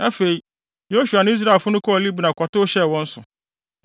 Afei, Yosua ne Israelfo no kɔɔ Libna kɔtow hyɛɛ wɔn so.